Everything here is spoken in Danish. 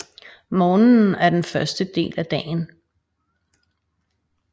Morgenen er den første del af dagen